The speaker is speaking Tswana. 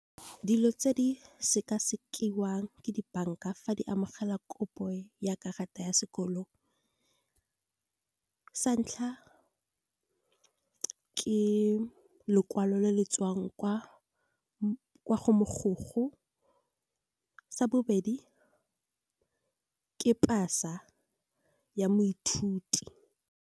Dilo tse di sekasekiwang ke di-bank-a fa di amogela kopo ya karata ya sekolo. Sa ntlha ke lekwalo le le tswang kwa go mokgoko, sa bobedi ke pasa ya moithuti.